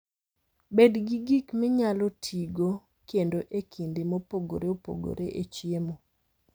Bed gi gik minyalo tigo kendo e kinde mopogore opogore e chiemo.